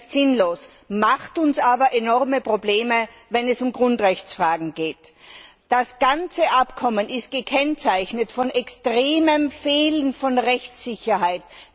Das ist sinnlos, macht uns aber enorme Probleme, wenn es um Grundrechtsfragen geht. Das ganze Abkommen ist gekennzeichnet durch einen extremen Mangel an Rechtssicherheit.